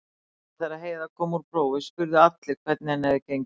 Alltaf þegar Heiða kom úr prófi spurðu allir hvernig henni hefði gengið.